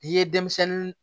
N'i ye denmisɛnnin